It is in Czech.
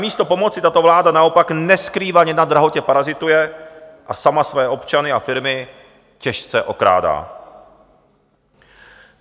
Namísto pomoci tato vláda naopak neskrývaně na drahotě parazituje a sama své občany a firmy těžce okrádá.